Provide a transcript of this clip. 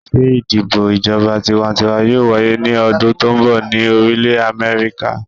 Ṣe idibo ijọba tiwantiwa yoo waye ni ọdun to nbọ ni Orilẹ Amẹrika?